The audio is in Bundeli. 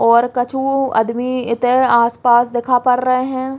और कछु अदमी इते आस-पास दिखा पर रए हैं।